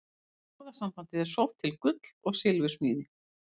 Orðasambandið er sótt til gull- og silfursmíði.